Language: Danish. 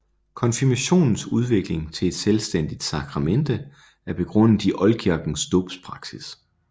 Konfirmationens udvikling til et selvstændigt sakramente er begrundet i oldkirkens dåbspraksis